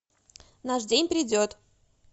наш день придет